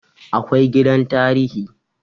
Akwai gidan tarihi